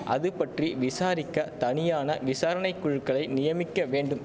அது பற்றி விசாரிக்க தனியான விசாரணை குழுக்களை நியமிக்க வேண்டும்